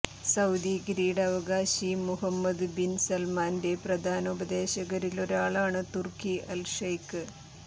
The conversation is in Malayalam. സൌദി കിരീടാവകാശി മുഹമ്മദ് ബിന് സല്മാന്റെ പ്രധാന ഉപദേശകരിലൊരാളാണ് തുര്ക്കി അല് ഷൈക്ക്